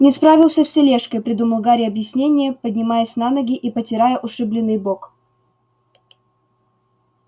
не справился с тележкой придумал гарри объяснение поднимаясь на ноги и потирая ушибленный бок